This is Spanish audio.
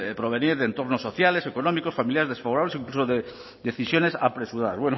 provenir de entornos sociales económicos familiares desfavorables e incluso de decisiones apresuradas